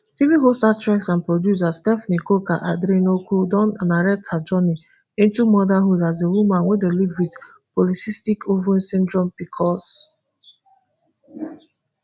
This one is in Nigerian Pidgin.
tv host actress and producer stephanie coker aderinokun don narrate her journey into motherhood as a woman wey dey live wit polycystic ovary syndrome pcos